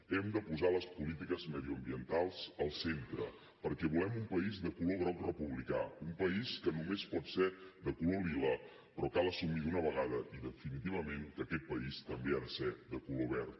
hem de posar les polítiques mediambientals al centre perquè volem un país de color groc republicà un país que només pot ser de color lila però cal assumir d’una vegada i definitivament que aquest país també ha de ser de color verd